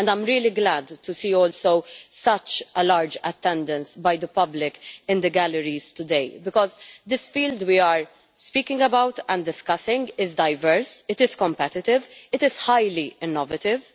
I am really glad also to see such a large attendance by the public in the galleries today because this field we are speaking about and discussing is diverse, competitive and highly innovative.